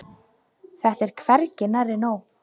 Þetta er hvergi nærri nóg.